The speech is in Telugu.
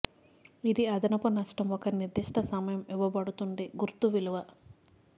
ఇది అదనపు నష్టం ఒక నిర్దిష్ట సమయం ఇవ్వబడుతుంది గుర్తు విలువ